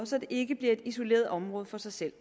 så det ikke bliver et isoleret område for sig selv